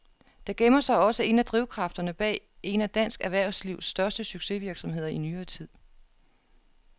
Der gemmer sig også en af drivkræfterne bag en af dansk erhvervslivs største succesvirksomheder i nyere tid.